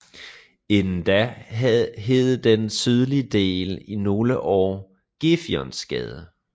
Inden da hed den sydlige del i nogle år Gefionsgade